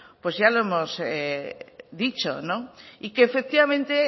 pues ya lo hemos dicho y que efectivamente